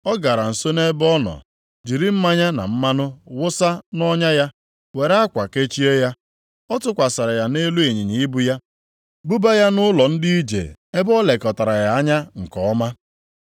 Ọ gara nso nʼebe ọ nọ, jiri mmanya na mmanụ wụsa nʼọnya ya, were akwa kechie ya. Ọ tụkwasịrị ya nʼelu ịnyịnya ibu ya, buba ya nʼụlọ ndị ije ebe o lekọtara ya anya nke ọma.